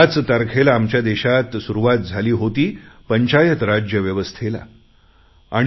याच तारखेला आमच्या देशात पंचायत राजव्यवस्थेला सुरुवात झाली होती